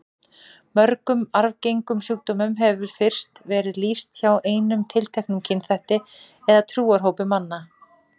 Mörgum arfgengum sjúkdómum hefur fyrst verið lýst hjá einum tilteknum kynþætti eða trúarhópi manna.